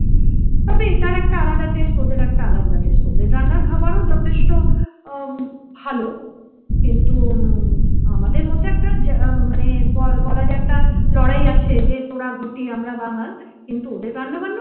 এটার একটা আলাদা test ওদের একটা আলাদা test । ওদের রান্নার খাবার ও যথেষ্ট ভালো কিন্তু আমাদের মধ্যে একটা যে মানে বলা যায় একটা লড়াই আছে যে তোরা ঘটি আমরা বাঙাল কিন্তু ওদের রান্না বান্না